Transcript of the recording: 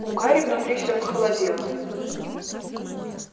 у гарри внутри все похолодело